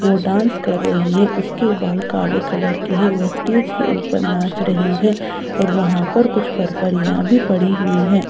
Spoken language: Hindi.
वो डांस कर रही है उसके बाल काले कलर के हैं वो स्टेज के ऊपर नाच रही है और वहाँ पर कुछ फरफरियाँ भी पड़ी हुई हैं।